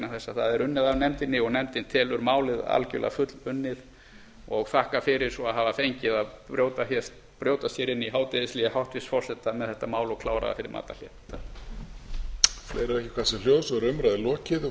það er unnið af nefndinni og nefndin telur málið algjörlega fullunnið og þakka fyrir svo að hafa fengið að brjótast hér inn i hádegishlé hæstvirts forseta með þetta mál og klára það fyrir matarhlé